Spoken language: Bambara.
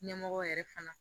Ɲɛmɔgɔ yɛrɛ fana